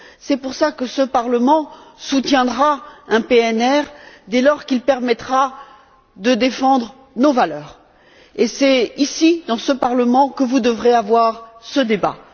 C'est la raison pour laquelle ce Parlement soutiendra un PNR dès lors qu'il permettra de défendre nos valeurs et c'est ici, dans ce Parlement, que vous devrez avoir ce débat.